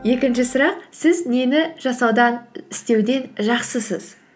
екінші сұрақ сіз нені істеуден жақсысыз